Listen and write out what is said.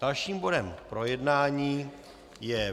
Dalším bodem k projednání je